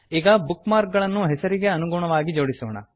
ಈಗ bookmark ಗಳನ್ನು ಹೆಸರಿನ ಅನುಗುಣವಾಗಿ ಜೋಡಿಸೋಣ